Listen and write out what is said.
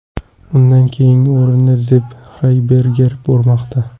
Undan keyingi o‘rinda Zepp Xyerberger bormoqda.